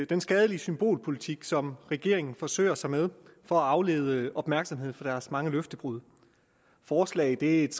den skadelige symbolpolitik som regeringen forsøger sig med for at aflede opmærksomheden fra deres mange løftebrud forslaget er et